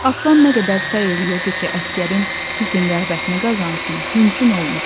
Aslan nə qədər səy eləyirdi ki, Əsgərin hüsn-rəğbətini qazansın, mümkün olmurdu.